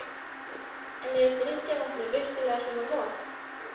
En er drykkjarvatnið virkilega svona vont?